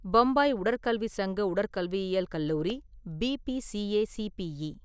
பம்பாய் உடற்கல்வி சங்க உடற்கல்வியியல் கல்லூரி (பிபிசிஏசிபிஇ).